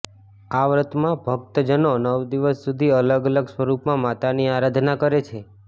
આ વ્રતમાં ભક્ત જનો નવ દિવસ સુધી અલગ અલગ સ્વરૂપમાં માતાની આરાધના કરે છે